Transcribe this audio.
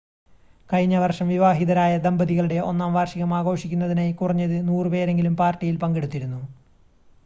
കഴിഞ്ഞ വർഷം വിവാഹിതരായ ദമ്പതികളുടെ ഒന്നാം വാർഷികം ആഘോഷിക്കുന്നതിനായി കുറഞ്ഞത് 100 പേരെങ്കിലും പാർട്ടിയിൽ പങ്കെടുത്തിരുന്നു